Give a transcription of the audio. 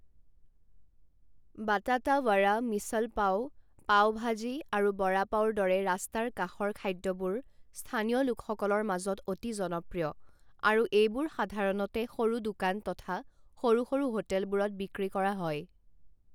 বাটাতা ৱাড়া, মিছল পাও, পাও ভাজী, আৰু ৱড়া পাওৰ দৰে ৰাস্তাৰ কাষৰ খাদ্যবোৰ স্থানীয় লোকসকলৰ মাজত অতি জনপ্ৰিয় আৰু এইবোৰ সাধাৰণতে সৰু দোকান তথা সৰু সৰু হোটেলবোৰত বিক্ৰী কৰা হয়।